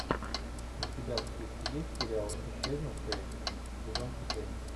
у тебя в списке есть сериал исчезнувшие сезон четыре